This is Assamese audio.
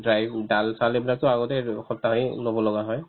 দাল-চাল এইবিলাকতো আগতে আনো সপ্তাহে ল'ব লগা হয়